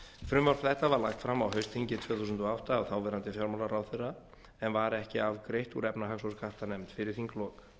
frumvarp þetta var lagt fram á haustþingi tvö þúsund og átta af þáverandi fjármálaráðherra en var ekki afgreitt úr efnahags og skattanefnd fyrir þinglok